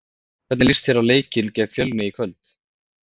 Hvernig líst þér á leikinn gegn Fjölni í kvöld?